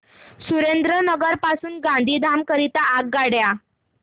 सुरेंद्रनगर पासून गांधीधाम करीता रेल्वेगाड्या